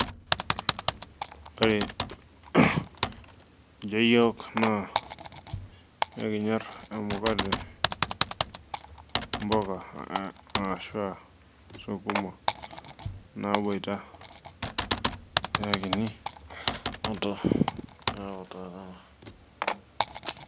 Ore ninje iyiook naa ekinyor emukate, imbuka ashuu aa sukuma naaboit.